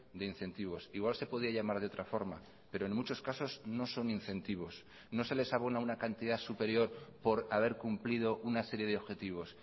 de incentivos igual se podía llamar de otra forma pero en muchos casos no son incentivos no se les abona una cantidad superior por haber cumplido una serie de objetivos